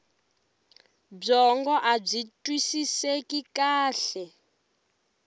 byongo abyi twisiseki kahle